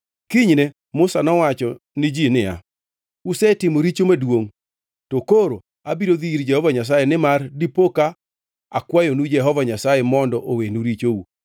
Kinyne Musa nowacho ni ji niya, “Usetimo richo maduongʼ to koro abiro dhi ir Jehova Nyasaye nimar dipoka akwayonu Jehova Nyasaye mondo owenu richou.”